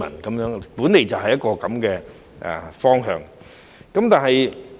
這本來就是應有的方向。